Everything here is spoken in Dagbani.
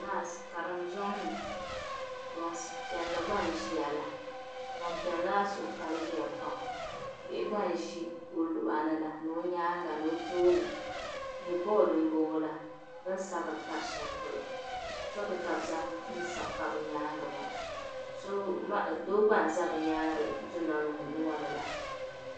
Ŋariŋ zɔŋni gban piɛli gba n ʒiya la gban piɛli maa suhi paligiya pam, bihi gba n ʒi ɔluɣani la ɔtooni ni ɔ nyaaŋa. n nyɛ boad n bɔŋɔ la bi ni sabiri n pari shɛli pɔlɔ, chɔk ka zaŋ n sabi n pa bi nyaaŋa maa, doo gba n za bi nyaaŋa dunɔliŋɔnila